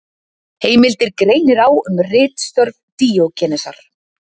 Heimildir greinir á um ritstörf Díógenesar.